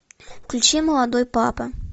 включи молодой папа